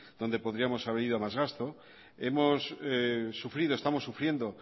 donde podríamos haber ido a más gasto hemos sufrido estamos sufriendo